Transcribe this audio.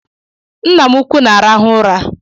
Ńnà m ụkwụ na-arahu ụra.